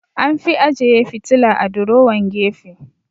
An fi ajeyi fitila a durowan gefe